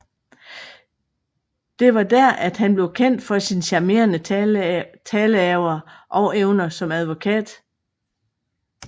Det var der at han blev kendt for sin charmerende taleaver og evner som advokat